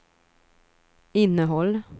innehåll